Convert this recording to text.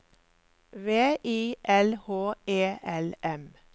V I L H E L M